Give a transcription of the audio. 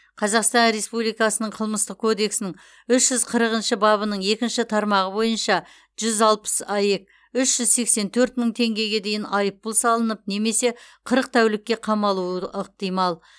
қазақстан республикасының қылмыстық кодексінің үш жүз қырықыншы бабының екінші тармағы бойынша жүз алпыс аек үш жүз сексен төрт мың теңгеге дейін айыппұл салынып немесе қырық тәулікке қамалуы ықтимал